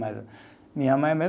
Mas minha mãe mesmo.